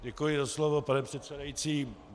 Děkuji za slovo, pane předsedající.